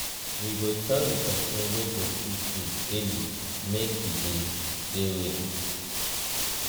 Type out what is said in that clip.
we go tell di pesin wey go cook food early make e dey dey ready.